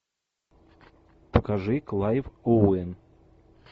покажи клайв оуэн